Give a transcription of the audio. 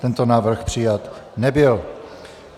Tento návrh přijat nebyl.